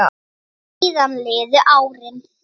Síðan liðu árin.